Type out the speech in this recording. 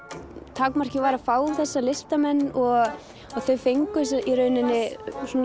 takmarkið var að fá þessa listamenn og þau fengu í rauninni